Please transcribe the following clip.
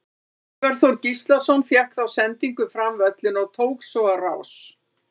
Sævar Þór Gíslason fékk þá sendingu fram völlinn og tók svo á rás.